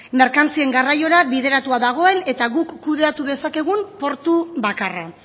merkantzien garraiora bideratuta dagoen eta guk kudeatu dezakegun portu bakarra